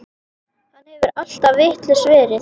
Hann hefur alltaf vitlaus verið.